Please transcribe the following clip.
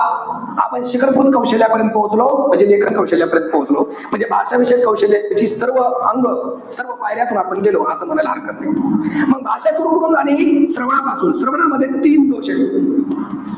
आपण शिखरभूत कौशल्यापर्यंत पोचलो. म्हणजे लेखन कौशल्यापर्यंत पोचतो. म्हणजे भाषाविषयक कौशल्याची सर्व अंग, सर्व पायऱ्यातून आपण गेलो. असं म्हणायला हरकत नाही. मंग भाषा सुरु कुठून झाली. श्रवनापासून. श्रवणामध्ये तीन दोष एत.